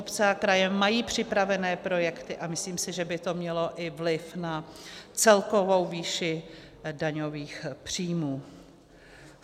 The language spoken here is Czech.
Obce a kraje mají připravené projekty a myslím si, že by to mělo i vliv na celkovou výši daňových příjmů.